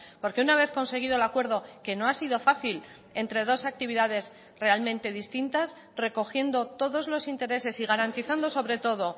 porque una vez conseguido el acuerdo que no ha sido fácil entre dos actividades realmente distintas recogiendo todos los intereses y garantizando sobre todo